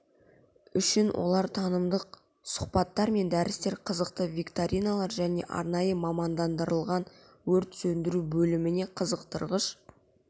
үшін олар танымдық сұхбаттар мен дәрістер қызықты викториналар және арнайы мамандандырылған өрт сөндіру бөліміне қызықтырғыш